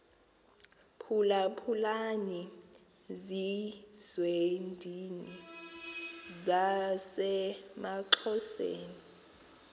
phulaphulani zizwendini zasemaxhoseni